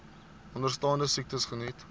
onderstaande siektes geniet